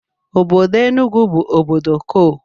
Obodo Enugu bụ obodo kol